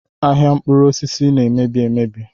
Ahịa mkpụrụosisi na-emebi emebi